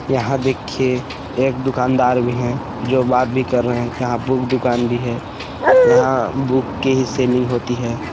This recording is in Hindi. यहाँ देखिये एक दुकानदार भी है जो बात भी कर रहे है यहाँ बुक दुकान भी है यहाँ बुक की ही सेलिंग होती है।